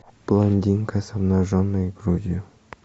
блондинка с обнаженной грудью